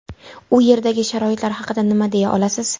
U yerdagi sharoitlar haqida nima deya olasiz?